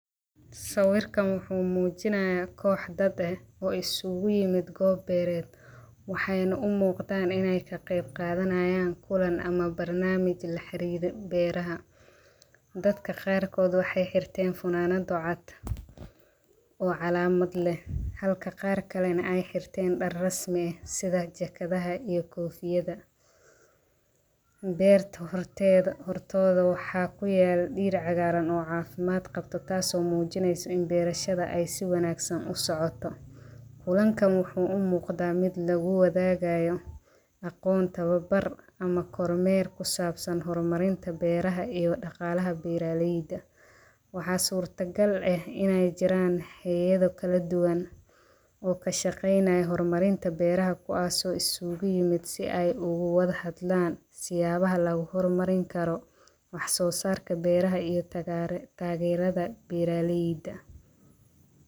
San arkayo muxuu muujinayaa qoys dad ah oo isugu yimid goob beereed. Waxayna u muuqdaan inay ka qaybqaadanayaan kulan ama barnaamij la xiriira beeraha dadka qarqot Waxay herten funaanado cad oo calaamad leh, halka qaar kalena ay herten dhar rasmi ah sida jaakadaha iyo koofiyadaha beerta. Hortooda waxa ku yaallo dhir cagaaran oo caafimaad qabta taasoo muujinayso in beeraleyda si wanaagsan u socdaan. kulanKan wuxuu u muuqdaa mid lagu wadaagayo aqoon, tababar, kormeer ku saabsan horumarinta beeraha iyo dhaqaalaha beeraleyda. Waxa suurtagal ah inay jiraan hay’ado kala duwan oo ka shaqeynaya horumarinta beeraha kuwaasoo isugu yimid si ay u wada hadlaan siyaabaha lagu horumarin karo wax soo saarka beeraha iyo taageerada beeraleyda.